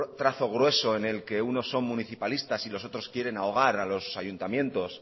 trazo grueso en el que unos son municipalistas y los otros quieren ahogar a los ayuntamientos